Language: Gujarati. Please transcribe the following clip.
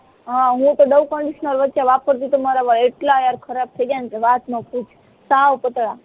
હા હું તો ડવ કન્ડીસ્નાર વચ્ચે વાપરતી હતીતો મારા વાળ એટલા યાર ખરાબ થઇ ગયા ને કે વાત ન પૂછ સાવ પાતળાં